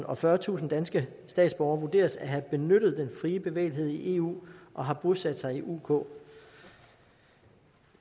og fyrretusind danske statsborgere vurderes at have benyttet den fri bevægelighed i eu og har bosat sig i uk uk